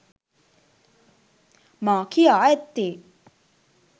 මා කියා ඇත්තේ